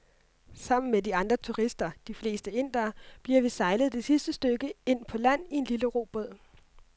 Sammen med de andre turister, de fleste indere, bliver vi sejlet det sidste stykke ind på land i en lille robåd.